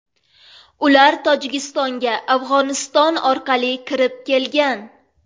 Ular Tojikistonga Afg‘oniston orqali kirib kelgan.